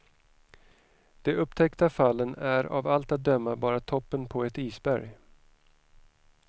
De upptäckta fallen är av allt att döma bara toppen på ett isberg.